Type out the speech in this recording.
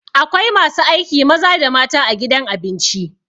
Akwai masu aiki maza da mata a gidan abinci.